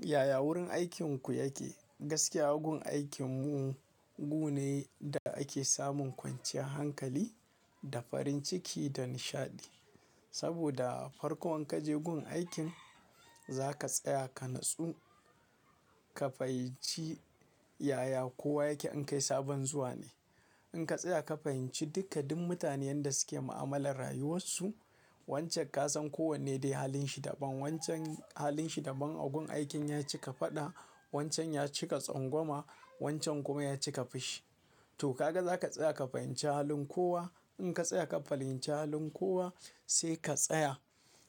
Yaya wurin aikinku yake? Gaskiya gun aikin mu gune da ake samun kwanciyar hankali da farin ciki da nishaɗi. Saboda farkon inkaje gun aikin za ka tsaya ka nutsu, ka fahimci yaya kowa yake in kai sabon zuwa ne. In ka tsaya ka fahimci duka duk mutanen da suke ma'amalar rayuwarsu wancan kasan kowanne dai halinshi daban. Wancan halinshi daban a gun aikin ya cika faɗa, wancan ya cika tsangwama, wancan kuma ya cika fushi. To kaga zaka tsaya ka fahimci halin kowa. In ka tsaya ka fahimci halin kowa sai ka tsaya,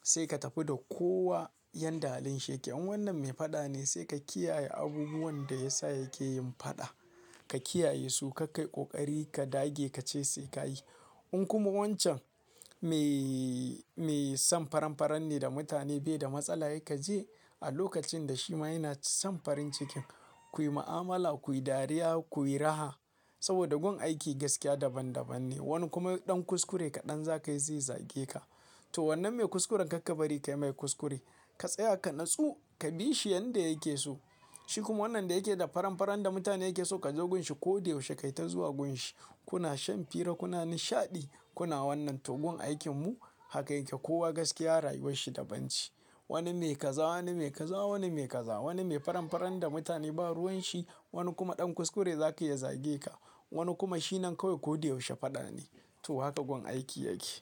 sai ka tafi da kowa yanda halin yake. In wannan mai faɗa ne sai ka kiyaye abubuwan da yasa yake yin faɗa. Ka kiyaye su kak kai ƙoƙari ka dage ka ce sai ka yi. In kuma wancan mai, mai son faranfaran ne da mutane bai da matsala sr kaje a lokacin da shima yana son farin ciki, kuyi ma'amala, kuyi dariya, kuyi raha. Saboda gun aiki gaskiya daban daban ne. Wani kuma ɗan kuskure kaɗan za ka yi zai zage ka. To wannan mai kuskuren kar ka bari ka yi mai kuskure. Ka tsaya ka nutsu ka bi shi yanda yake so. Shi kuma wannan da yake da faranfaran da mutane yake so ka zo gunshi ko da yaushe kai ta zuwa gunshi. Kuna shan fira kuna nishaɗi kuna wannan to gun aikin mu haka yake. Kowa gaskiya rayuwarshi daban ce. Wani mai kaza, wani mai kaza, wani mai kaza. Wani mai faranfaran da mutane ba ruwan shi. Wani kuma ɗan kuskure za ka yi ya zage ka. Wani kuma shi nan kawai ko dai yaushe faɗa ne. To haka gun aiki yake.